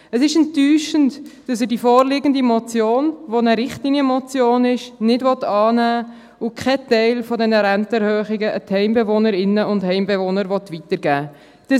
Es ist enttäuschend, dass er die vorliegende Motion, die eine Richtlinienmotion ist, nicht annehmen will und keinen Teil dieser Rentenerhöhungen an die Heimbewohnerinnen und Heimbewohner weitergeben will.